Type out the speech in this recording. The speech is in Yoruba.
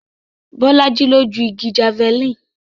Bolaji ló ju igi Javeline